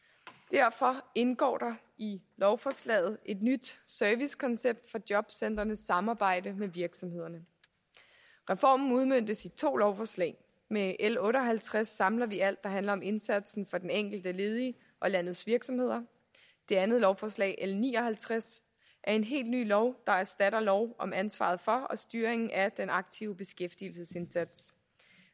derfor indgår der i lovforslaget et nyt servicekoncept for jobcentrenes samarbejde med virksomhederne reformen udmøntes i to lovforslag med l otte og halvtreds samler vi alt der handler om indsatsen for den enkelte ledige og landets virksomheder det andet lovforslag l ni og halvtreds er en helt ny lov der erstatter lov om ansvaret for og styringen af den aktive beskæftigelsesindsats